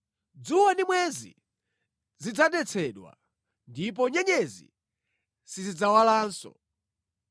Dzuwa ndi mwezi zidzadetsedwa, ndipo nyenyezi sizidzawalanso.